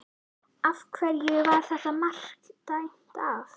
Af hverju var þetta mark dæmt af?